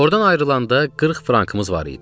Oradan ayrılanda 40 frankımız var idi.